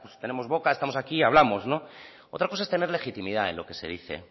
tenemos boca estamos aquí hablamos no otra cosa es tener legitimidad en lo que se dice